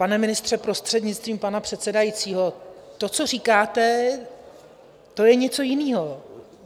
Pane ministře, prostřednictvím pana předsedajícího, to, co říkáte, to je něco jiného.